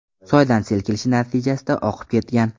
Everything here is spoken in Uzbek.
soydan sel kelishi natijasida oqib ketgan.